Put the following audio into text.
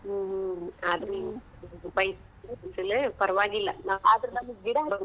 ಹ್ಮ್‌ ಹ್ಮ್‌ ಆದ್ರೂ ಇಲ್ಲೇ ಪರವಾಗಿಲ್ಲ .